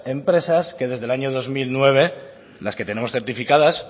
empresas que desde el año dos mil nueve las que tenemos certificadas